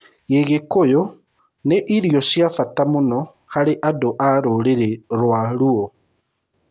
Gĩgĩkũyũ nĩ irio cia bata mũno harĩ andũ a rũrĩrĩ rwa Luo.